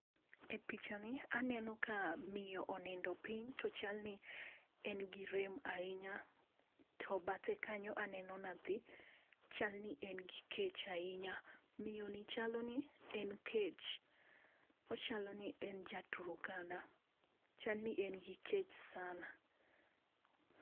E picha ni aneno ka miyo onindo piny to chal ni en gi rem ahinya to bathe kanyo eneno nyathi chal ni en gi kech ahinya ,miyo ni chal ni en kech chal ni en jatuo chal ni en kech sana.